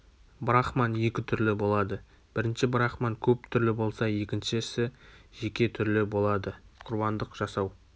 брахман екі түрлі болады бірінші брахман көп түрлі болса екіншісі жеке түрлі болады құрбандық жасау